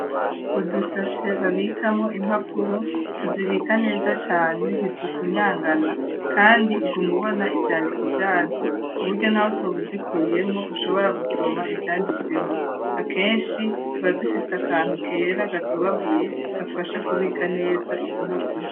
Udusashe babikamo impapuro tuzibika neza cane ntizifunyangana kandi kuguma ubona ivyandiko vyazo ku buryo naho utoba uzikuyemwo ushobora gusoma ivyanditsemwo, akenshi tubadufise akantu kera gatobaguye gafasha kubika neza izo mpapuro.